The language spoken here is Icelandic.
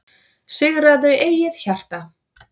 Sigraðu eigið hjarta,